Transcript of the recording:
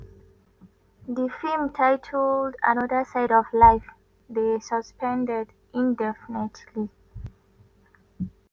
“di feem titled ‘another side of life’ dey suspended indefinitely.